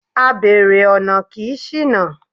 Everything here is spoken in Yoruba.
Abèrè ọ̀nà kì í ṣìnà.